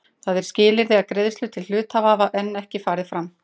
Það er skilyrði að greiðslur til hluthafa hafi enn ekki farið fram.